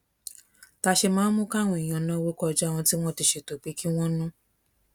ta ṣe máa ń mú káwọn èèyàn náwó kọjá ohun tí wón ti ṣètò pé kí wón ná